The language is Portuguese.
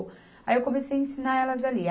Aí eu comecei a ensinar elas ali.